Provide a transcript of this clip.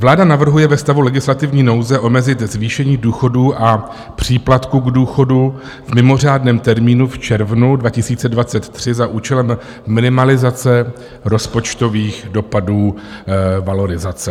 Vláda navrhuje ve stavu legislativní nouze omezit zvýšení důchodů a příplatku k důchodu v mimořádném termínu v červnu 2023 za účelem minimalizace rozpočtových dopadů valorizace.